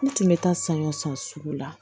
N tun bɛ taa saɲɔ san sugu la